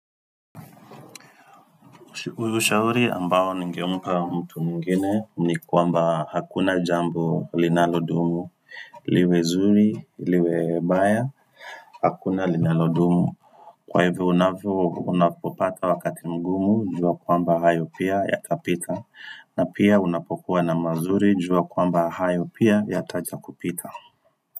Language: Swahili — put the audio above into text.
Ushauri ambao ningempa mtu mwingine ni kwamba hakuna jambo linalodumu, liwe zuri, liwe baya, hakuna linalodumu. Kwa hivyo unavyo unapopata wakati mgumu jua kwamba hayo pia yatapita. Na pia unapokuwa na mazuri jua kwamba hayo pia yataja kupita.